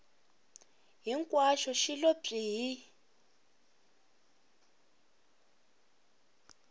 hinkwaxo xi lo pyi hi